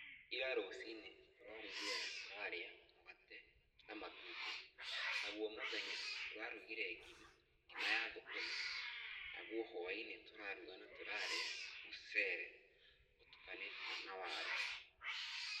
Ira rũciinĩ, tũrarugire na tũrarĩa mũgate na matumbĩ. Naguo mũthenya tũrarugire mgima, ngima ya thũkũma. Naguo hwaĩ-inĩ tũraruga na tũrarĩa mũcere, ũtukanĩtio na waru.